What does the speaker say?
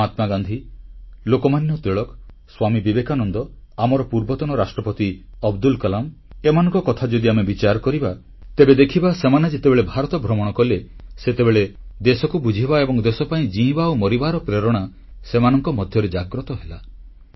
ମହାତ୍ମାଗାନ୍ଧୀ ଲୋକମାନ୍ୟ ତିଳକ ସ୍ୱାମୀ ବିବେକାନନ୍ଦ ଆମର ପୂର୍ବ ରାଷ୍ଟ୍ରପତି ଅବଦୁଲ କଲାମ୍ ଏମାନଙ୍କ କଥା ଯଦି ଆମେ ବିଚାର କରିବା ତେବେ ଦେଖିବା ସେମାନେ ଯେତେବେଳେ ଭାରତ ଭ୍ରମଣ କଲେ ସେତେବେଳେ ଦେଶକୁ ବୁଝିବା ଏବଂ ଦେଶପାଇଁ ଜୀଇଁବା ଓ ମରିବାର ପ୍ରେରଣା ସେମାନଙ୍କ ମଧ୍ୟରେ ଜାଗ୍ରତ ହେଲା